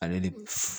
Ale ni